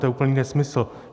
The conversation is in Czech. To je úplný nesmysl.